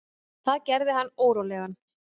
Það gerði hann órólegan.